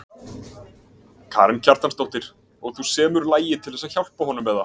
Karen Kjartansdóttir: Og þú semur lagið til þess að hjálpa honum eða?